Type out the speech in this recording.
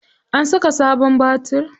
An saka sabon batir.